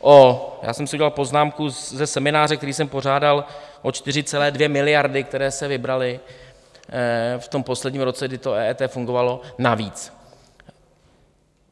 - já jsem si udělal poznámku ze semináře, který jsem pořádal - o 4,2 miliardy, které se vybraly v tom posledním roce, kdy to EET fungovalo, navíc.